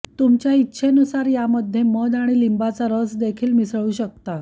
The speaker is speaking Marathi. तुमच्या इच्छेनुसार यामध्ये मध आणि लिंबाचा रसदेखील मिसळू शकता